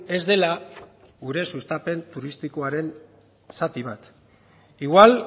ez dela gure sustapen turistikoaren zati bat igual